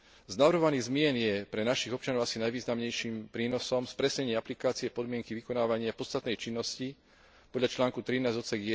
Z navrhovaných zmien je pre našich občanov asi najvýznamnejším prínosom spresnenie aplikácie podmienky vykonávania podstatnej činnosti podľa článku 13 ods.